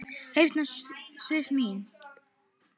Hérna Sif mín.